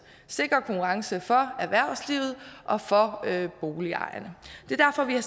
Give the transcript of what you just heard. sikre konkurrence for erhvervslivet og for boligejerne det er derfor vi har